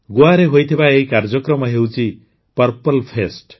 ଗୋଆରେ ହୋଇଥିବା ଏହି କାର୍ଯ୍ୟକ୍ରମ ହେଉଛି ପର୍ପଲ୍ ଫେଷ୍ଟ୍